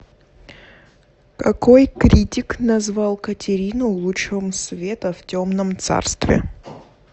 какой критик назвал катерину лучом света в темном царстве